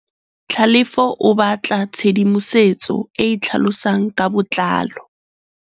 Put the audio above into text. Tlhalefô o batla tshedimosetsô e e tlhalosang ka botlalô.